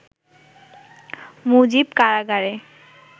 'মুজিব কারাগারে